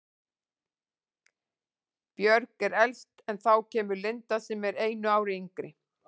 Björg er elst en þá kemur Linda sem er einu ári yngri.